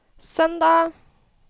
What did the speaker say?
søndag